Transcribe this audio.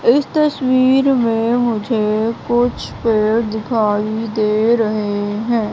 इस तस्वीर में मुझे कुछ पेड़ दिखाई दे रहे है।